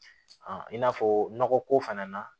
i n'a fɔ nɔgɔ ko fana na